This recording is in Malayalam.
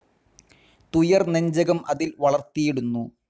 തുയർ നെഞ്ചകം അതിൽ വളർത്തീടുന്നു